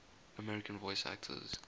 american voice actors